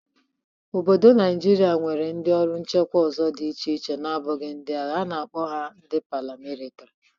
Obodo Naịjịrịa nwere ndị ọrụ nchekwa ọzọ dị iche iche nabụghị ndị agha. A na-akpo ha ndị paramilitiri.